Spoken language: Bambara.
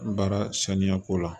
Baara saniya ko la